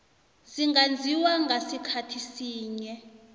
zingenziwa ngasikhathi sinye